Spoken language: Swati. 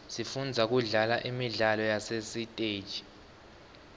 sifunza kudlala imidlalo yasesiteji